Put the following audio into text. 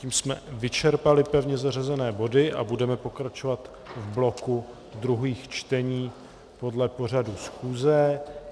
Tím jsme vyčerpali pevně zařazené body a budeme pokračovat v bloku druhých čtení podle pořadu schůze.